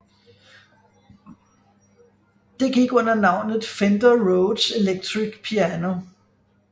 Det gik under navnet Fender Rhodes Electric Piano